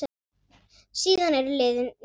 Síðan eru liðin níu ár.